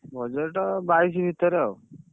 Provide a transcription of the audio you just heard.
Budget ବାଇଶି ଭିତରେ ଆଉ